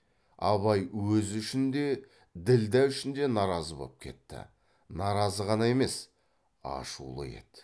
абай өзі үшін де ділдә үшін де наразы боп кетті наразы ғана емес ашулы еді